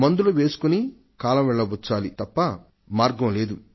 మందులు వేసుకుంటూ కాలం వెళ్లబుచ్చాలి తప్ప మార్గం లేదు